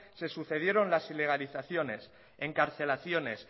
se sucedieron las ilegalizaciones encarcelaciones